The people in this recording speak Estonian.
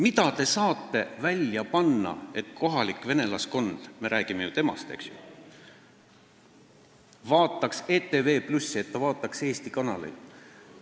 Mida te saate välja panna, et kohalik venelaskond – me räägime ju temast, eks ole – vaataks ETV+ ja Eesti kanaleid?